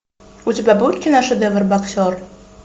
у тебя будет киношедевр боксер